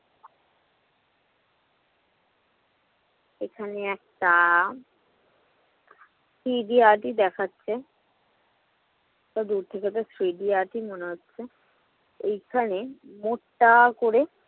এখানে একটা three D art ই দেখাচ্ছে। ওটা দূর থেকেতো 3D art ই মনে হচ্ছে। এখানে মোটা করে